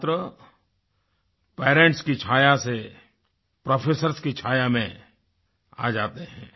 छात्र पेरेंट्स की छाया से प्रोफेसर्स की छाया में आ जाते हैं